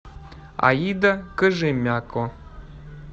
аида кожемяко